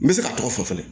N bɛ se ka tɔgɔ fɔ fana